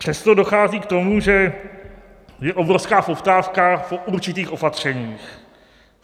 Přesto dochází k tomu, že je obrovská poptávka po určitých opatřeních.